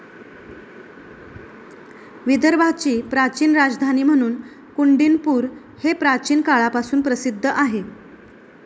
विदर्भाची प्राचीन राजधानी म्हणून कुंडीनपूर हे प्राचीन काळापासून प्रसिद्ध आहे.